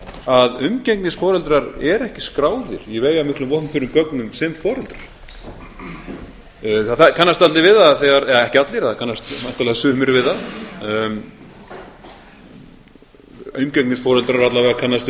að umgengnisforeldrar eru ekki skráðir í veigamiklum opinberum gögnum sem foreldrar það kannast allir við það eða ekki allir það kannast náttúrlega sumir við það umgengnisforeldrar alla vega kannast